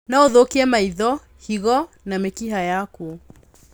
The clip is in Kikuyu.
No ũthũkie maitho, higo na mĩkiha yaku.